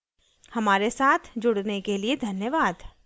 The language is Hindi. हमारे साथ जुड़ने के लिए धन्यवाद